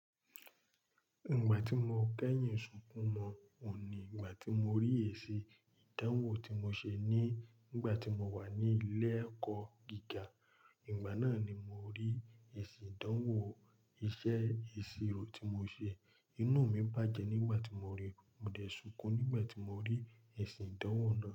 Ìgbà tí mo kẹ́yìn sunkún mọ́ ọ ní ìgbà tí mo rí èsì ìdánwò tí mo ṣe ní ìgbà tí mo wà ní ilé ẹ̀kọ́ gíga. Ìgbà náà ni mo rí èsì ìdánwò iṣẹ́ ìṣirò tí mo ṣe. Inú mi bàjẹ́ nígbà tí mo ríi, mo dẹ̀ sunkún nígbà tí mo rí èsì ìdánwò náà.